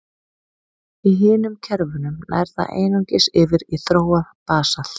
Í hinum kerfunum nær það einungis yfir í þróað basalt.